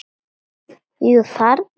Jú, þarna!